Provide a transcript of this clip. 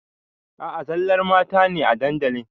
A a zallar mata ne a dandalin.